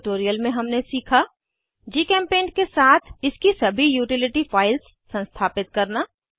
इस ट्यूटोरियल में हमने सीखा जीचेम्पेंट के साथ इसकी सभी यूटिलिटी फाइल्स संस्थापित करना